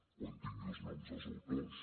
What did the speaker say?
quan tingui els noms dels autors